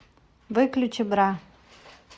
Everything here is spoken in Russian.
выключи бра